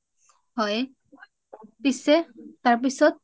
হয় পিছে তাৰপিছত